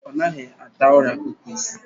Ọnaghị ata ora kukusi